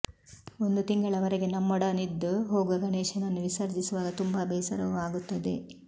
ಒಂದು ತಿಂಗಳವರೆಗೆ ನಮ್ಮೊಡನಿದ್ದು ಹೋಗುವ ಗಣೇಶನನ್ನು ವಿಸರ್ಜಿಸುವಾಗ ತುಂಬಾ ಬೇಸರವೂ ಆಗುತ್ತದೆ